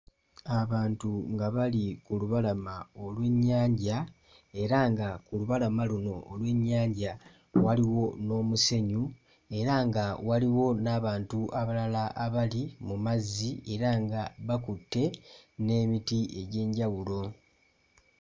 Abantu nga bali ku lubalama olw'ennyanja era nga ku lubalama luno olw'ennyanja waliwo n'omusenyu era nga waliwo n'abantu abalala abali mu mazzi era nga bakutte n'emiti egy'enjawulo.